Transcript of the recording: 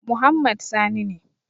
Muhammad Sani ne.